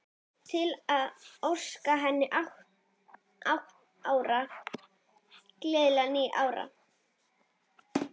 Til að óska henni ára, gleðilegra, nýrra.